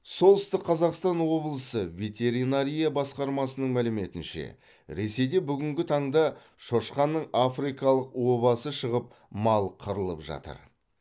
солтүстік қазақстан облысы ветеринария басқармасының мәліметінше ресейде бүгінгі таңда шошқаның африкалық обасы шығып мал қырылып жатыр